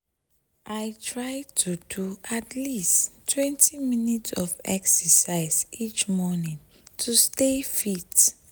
i try to do at leasttwentyminutes of exercise each morning to stay fit.